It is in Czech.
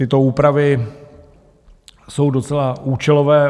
Tyto úpravy jsou docela účelové.